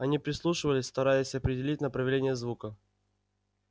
они прислушивались стараясь определить направление звука